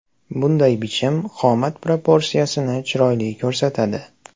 Bunday bichim qomat proporsiyasini chiroyli ko‘rsatadi.